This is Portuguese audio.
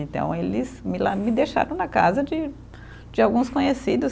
Então, eles me la, me deixaram na casa de de alguns conhecidos.